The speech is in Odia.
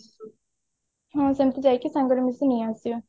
ହଁ ସେମତି ଯାଇକି ସାଙ୍ଗରେ ମିସିକି ନେଇ ଆସିବା